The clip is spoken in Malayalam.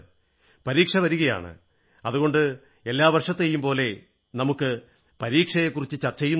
പരീക്ഷകൾ വരുകയാണ് അതുകൊണ്ട് എല്ലാ വർഷത്തെയും പോലെ നമുക്ക് പരീക്ഷയെക്കുറിച്ച് ചർച്ചയും നടത്തണം